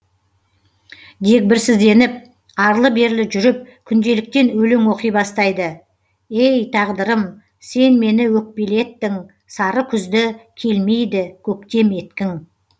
дегбірсізденіп арлы берлі жүріп күнделіктен өлең оқи бастайды ей тағдырым сен мені өкпелеттің сары күзді келмейді көктем еткің